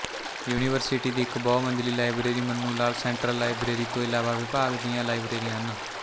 university ਦੀ ਇਕ ਬਹੁਮੰਜ਼ਲੀ library Mannu Lal central library ਤੋਂ ਇਲਾਵਾ ਵਿਭਾਗ ਦੀਆਂ ਲਾਇਬ੍ਰੇਰੀਆਂ ਹਨ